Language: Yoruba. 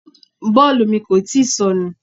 Bọ́ọ̀lù mi kò tíì sọnù.